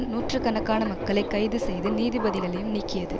நூற்று கணக்கான மக்களை கைது செய்து நீதிபதிகளையும் நீக்கியது